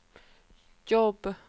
jobb